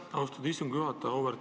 Aitäh, austatud istungi juhataja!